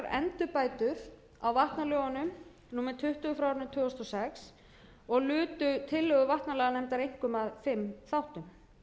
endurbætur á vatnalögunum númer tuttugu tvö þúsund og sex og lutu tillögur vatnalaganefndar einkum að fimm þáttum